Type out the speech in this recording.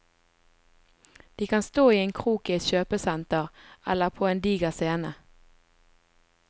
De kan stå i en krok i et kjøpesenter, eller på en diger scene.